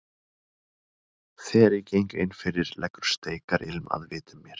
Þegar ég geng innfyrir leggur steikarilm að vitum mér.